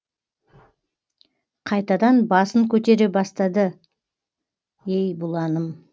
қайтадан басын көтере бастады ей бұланым